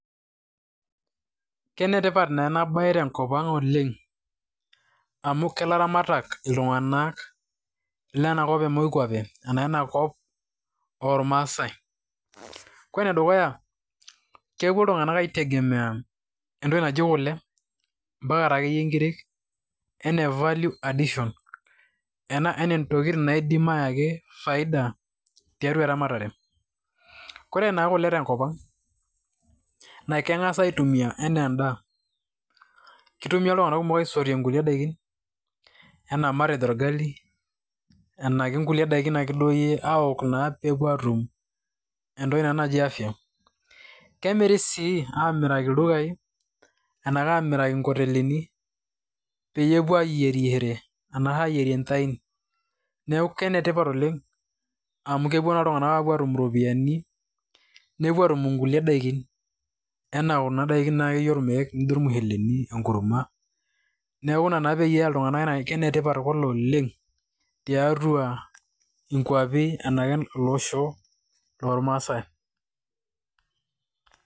Kenetipat naa enabae tenkop ang' amu kelaramatak ltung'anak lenakop emoikuapei ormasaai. Ore dukuya na kepuo ltung'anak aitegemea entoki naji kule ampaka taayie nkiri enaa value additional, ntokitin naidim ayaki faida tiatua eramatare, ore naa kule tenkop ang' naa keng'as aitumia anaa endaa, kitumia ltung'anak aisotie enaa matejo orgali, nona kulie dakin akeyie ana pepuo atum entoki naji afya, kemiri sii amiraki ldukai enaa amiraki nkotelini pepuo ayierishore arashu ayierie shai, neaku kenetipat oleng' amu kupuo naa ltung'anak atum kulie dakin anaa kuna dakin anaa enkurma ,neaku ina naa peya ltung'anak anaa netipat kule oleng' tiatua nkuapi arashu olosho lormaasai.